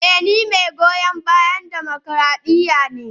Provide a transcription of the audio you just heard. Eh ni mai goyon bayan dimokradiyya ne.